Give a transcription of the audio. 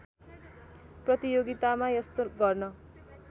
प्रतियोगितामा यस्तो गर्न